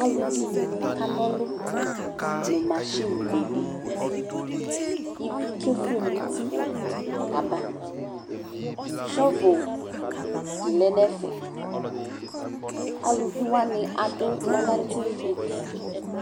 Aluvidɩnɩ kan'ɔlʋ nʋ masɩnɩ bedɩ : k'ivi kefue n'uti kama Chovodɩ lɛ n'ɛfɛ; aluvi wanɩ adʋ bɛlɛŋtɩ buti